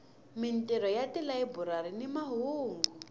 mintirho ya tilayiburari ni mahungu